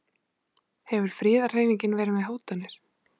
Hefur friðarhreyfingin verið með hótanir?